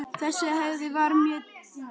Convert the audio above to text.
Þessi hefð var mjög dýrmæt.